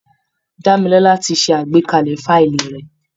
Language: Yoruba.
Dámilọ́lá ti ṣe àgbékalẹ̀ fáìlì rẹ̀